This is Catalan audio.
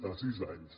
a sis anys